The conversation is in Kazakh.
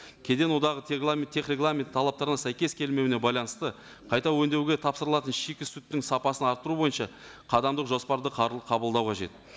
кеден одағы регламент тех регламент талаптарына сәйкес келмеуіне байланысты қайта өндеуге тапсырылатын шикі сүттің сапасын арттыру бойынша қадамдық жоспарды қабылдау қажет